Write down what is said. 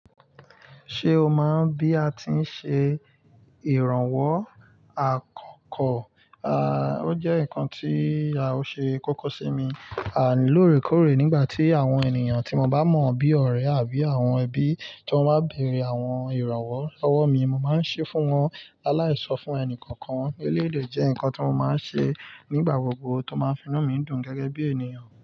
Ṣé o mọ̀ bí a ti ń ṣe ìrànwọ́ àkọ́kọ́? À, ó jẹ́ nǹkan tí á, o ṣe kókó sí mi. Àń, lóòrèkóòrè nígbà tí àwọn ènìyàn tí mo bá mọ̀ bí ọ̀rẹ́ àbí àwọn ẹbí ti wọ́n bá bèèrè àwọn ìrànwọ́ lọwọ́ mi, mo máa ń ṣe fún wọn. Aláìso fún ẹni kankan eleyi de jẹ́ nǹkan tí mo máa ń ṣe nígbà gbogbo tó máa ń fi inu mi dùn gẹ́gẹ́ bí ènìyàn.